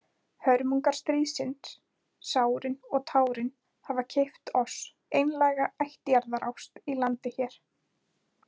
Hörmungar stríðsins, sárin og tárin, hafa keypt oss einlæga ættjarðarást í landi hér.